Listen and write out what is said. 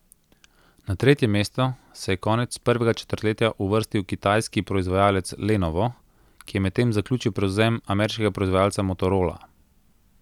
Na tretje mesto se je konec prvega četrtletja uvrstil kitajski proizvajalec Lenovo, ki je medtem zaključil prevzem ameriškega proizvajalca Motorola.